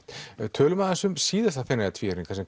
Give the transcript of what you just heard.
tölum aðeins um síðasta Feneyjatvíæring þar sem